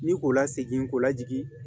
Ni k'o la segin k'o lajigin